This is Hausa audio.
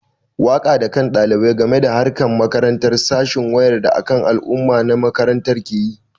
Wayar da kan ɗalibai a game da harkar makaranta sashen wayar da kan al'umma na makaranta ke yi.